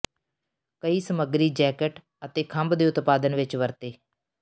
ਕਈ ਸਮੱਗਰੀ ਜੈਕਟ ਅਤੇ ਖੰਭ ਦੇ ਉਤਪਾਦਨ ਵਿੱਚ ਵਰਤੇ